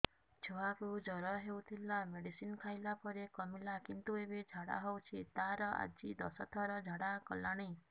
ଛୁଆ କୁ ଜର ହଉଥିଲା ମେଡିସିନ ଖାଇଲା ପରେ କମିଲା କିନ୍ତୁ ଏବେ ଝାଡା ହଉଚି ତାର ଆଜି ଦଶ ଥର ଝାଡା କଲାଣି